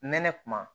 Nɛnɛ kuma